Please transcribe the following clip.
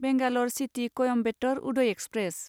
Bangalore city Coimbatore Uday express